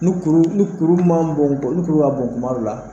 Ni kuru ni kuru man bɔn ni' kuru ka bon kuma dɔ la.